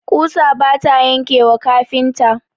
ƙusa bata yanke wa kafinta.